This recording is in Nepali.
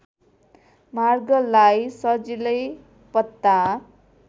मार्गलाई सजिलै पत्ता